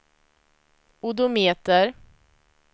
odometer